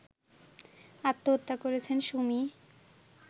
আত্মহত্যা করেছেন সুমি